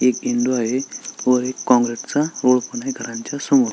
एक विंडो आहे व एक कॉंक्रिटचा घरांच्या समोर--